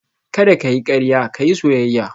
Kada ka yi karya ka yi soyayya